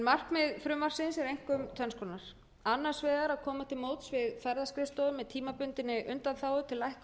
markmið frumvarpsins er einkum tvenns konar annars vegar að koma til móts við ferðaskrifstofur að tímabundinni undanþágu til lækkunar tryggingarfjárhæðar